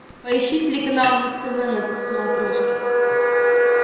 поищи телеканал муз тв на смотрешке